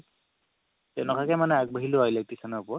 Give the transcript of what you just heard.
তেনেকে মানে আগবাঢ়িলো আৰু electrician ৰ ওপৰত